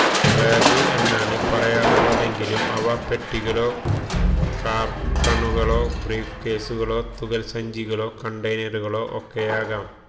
bag എന്നാണ് പറയാറുള്ളതെങ്കിലും ഇവ പെട്ടികളോ കാർട്ടണുകളോ ബ്രീഫ്കേസുകളോ തുകൽസഞ്ചികളോ കണ്ടെയ്നറുകളോ ഒക്കെയാകാം